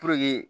Puruke